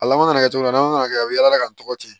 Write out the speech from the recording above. A laban mana kɛ cogo cogo na mana kɛ a bɛ yala ka n tɔgɔ di